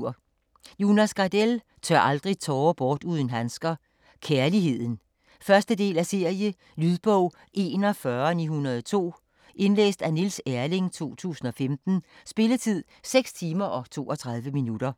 Gardell, Jonas: Tør aldrig tårer bort uden handsker: Kærligheden 1. del af serie. Lydbog 41902 Indlæst af Niels Erling, 2015. Spilletid: 6 timer, 32 minutter.